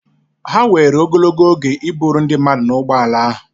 Ha were ogologo oge iburu ndi mmadu na ụgbọ ala ahụ.